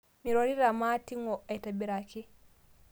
Mirorita maating'o aitibiraki